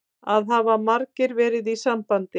Það hafa margir verið í sambandi